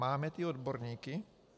Máme ty odborníky?